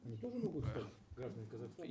они тоже могут стать гражданами казахстана